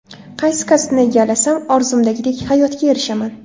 Qaysi kasbni egallasam, orzumdagidek hayotga erishaman?